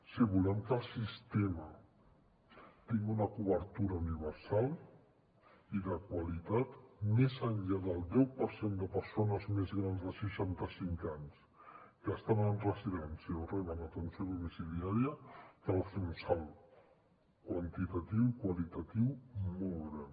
si volem que el sistema tingui una cobertura universal i de qualitat més enllà del deu per cent de persones més grans de seixanta cinc anys que estan en residència o reben atenció domiciliària cal fer un salt quantitatiu i qualitatiu molt gran